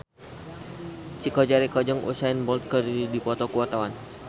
Chico Jericho jeung Usain Bolt keur dipoto ku wartawan